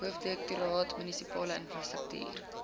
hoofdirektoraat munisipale infrastruktuur